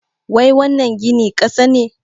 Wai wannan gini ƙasa ne?